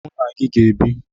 Mụ na gị ga-ebi.